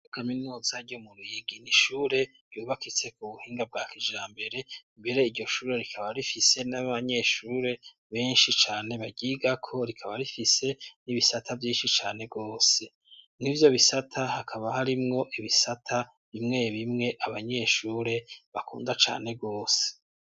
Ikaminuza ryo mu Ruyigi ni ishure yubakitse ku buhinga bwakija mbere mbere iryoshure rikaba rifise n'abanyeshure benshi cane bagiga ko rikaba rifise n'ibisata byinshi cane bwose n'ibyo bisata hakaba harimwo ibisata bimwe bimwe abanyeshure bakunda cane bwose.